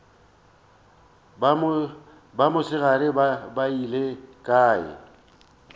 ba mosegare ba beile kae